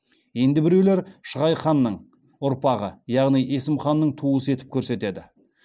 енді біреулер шығай ханның әрпағы яғни есім ханның туысы етіп көрсетеді